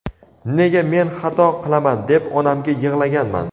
nega men xato qilaman deb onamga yig‘laganman.